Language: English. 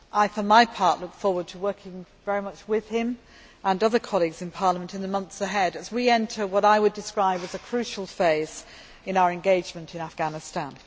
For my part, I look forward to working very much with him and other colleagues in Parliament in the months ahead as we enter what I would describe as a crucial phase in our engagement in Afghanistan.